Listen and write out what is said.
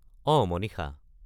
অঁ, মনিষা।